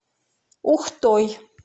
ухтой